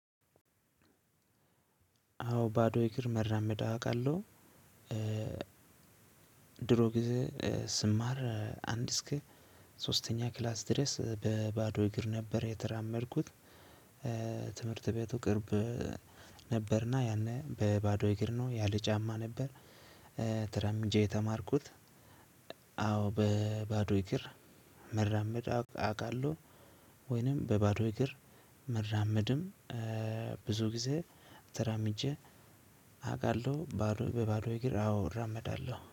አዎ ባዶ እግር መራመድ አውቃለሁ። ድሮ ጊዜ ስማር አንድ እስከ ሶስተኛ ክላስ ድረስ በባዶ እግር ነበር የተራመድኩት። ትምህርት ቤቱ ቅርብ ነበር። እና ያኔ በባዶ እግሬ ያለ ጫማ ነበር። ተራምጄ የተማርኩት። አዎ በባዶ እግር መራመድ አውቃለሁ። ወይንም በባዶ እግር መራመድም ብዙ ጊዜ ተራምጄ አውቃለው። ባዶ በባዶ እግር አዎ እራመዳለሁ